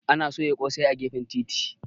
Ana sai ƙosai a gefen titi.